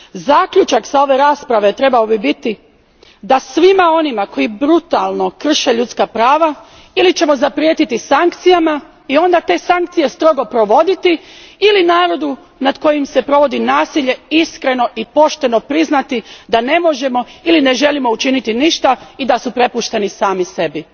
Zaključak s ove rasprave bi trebao biti da svima onima koji brutalno krše ljudska prava ćemo ili zaprijetiti sankcijama i onda te sankcije strogo provoditi ili narodu nad kojim se provodi nasilje iskreno i pošteno priznati da ne možemo ili ne želimo učiniti ništa i da su prepušteni sami sebi.